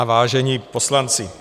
... a vážení poslanci.